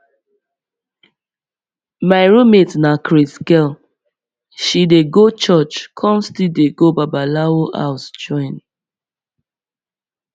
my roommate na craze girl she dey go church come still dey go babalawo house join